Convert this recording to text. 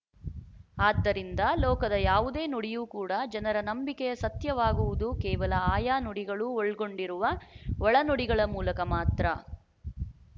ಆದ್ದರಿಂದ ಲೋಕದ ಯಾವುದೇ ನುಡಿಯು ಕೂಡ ಜನರ ನಂಬಿಕೆಯ ಸತ್ಯವಾಗುವುದು ಕೇವಲ ಆಯಾ ನುಡಿಗಳು ಒಳ್ಗೊಂಡಿರುವ ಒಳನುಡಿಗಳ ಮೂಲಕ ಮಾತ್ರ